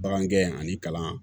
Bagan gɛn ani kalan